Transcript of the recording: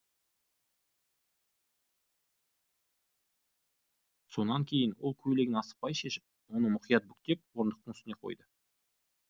сонан кейін ол көйлегін асықпай шешіп оны мұқият бүктеп орындықтың үстіне қойды